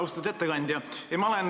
Austatud ettekandja!